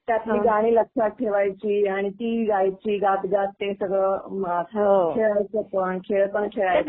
त्यात ती गाणी लक्षात ठेवायची आणि ती ही गायची, गात गात ते सगळं मुळात खेळायचं पण. खेळ पण खेळायचे.